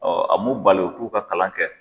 Ɔ a m'u bali u k'u ka kalan kɛ.